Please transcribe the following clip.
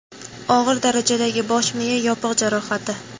Og‘ir darajadagi bosh miya yopiq jarohati.